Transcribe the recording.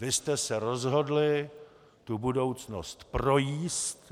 Vy jste se rozhodli tu budoucnost projíst.